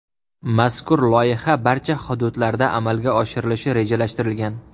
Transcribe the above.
Mazkur loyiha barcha hududlarda amalga oshirilishi rejalashtirilgan.